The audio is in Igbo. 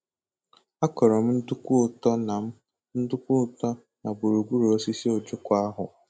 A kọrọ m nduku-ụtọ na m nduku-ụtọ na gburugburu osisi ojoko ahụ.